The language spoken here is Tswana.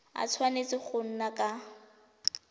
a tshwanetse go nna ka